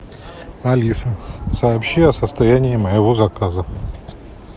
алиса сообщи о состоянии моего заказа